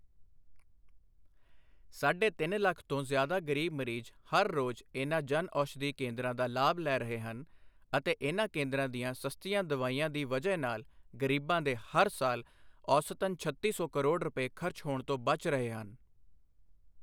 ਸਾਢੇ ਤਿੰਨ ਲੱਖ ਤੋਂ ਜ਼ਿਆਦਾ ਗ਼ਰੀਬ ਮਰੀਜ਼, ਹਰ ਰੋਜ਼ ਇਨ੍ਹਾਂ ਜਨ ਔਸ਼ਧੀ ਕੇਂਦਰਾਂ ਦਾ ਲਾਭ ਲੈ ਰਹੇ ਹਨ ਅਤੇ ਇਨ੍ਹਾਂ ਕੇਂਦਰਾਂ ਦੀਆਂ ਸਸਤੀਆਂ ਦਵਾਈਆਂ ਦੀ ਵਜ੍ਹਾ ਨਾਲ ਗ਼ਰੀਬਾਂ ਦੇ ਹਰ ਸਾਲ ਔਸਤਨ ਛੱਤੀ ਸੌ ਕਰੋੜ ਰੁਪਏ ਖਰਚ ਹੋਣ ਤੋਂ ਬਚ ਰਹੇ ਹਨ।